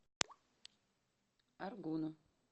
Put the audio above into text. аргуну